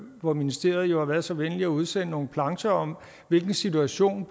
hvor ministeriet var så venlig at udsende nogle plancher om hvilken situation